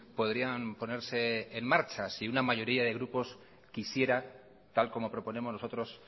podrían ponerse en marcha si una mayoría de grupos quisiera tal como proponemos nosotros